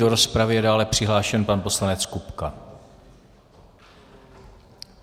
Do rozpravy je dále přihlášen pan poslanec Kupka.